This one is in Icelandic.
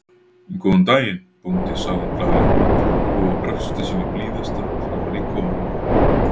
Góðan daginn, bóndi sagði hún glaðlega og brosti sínu blíðasta framan í komumann.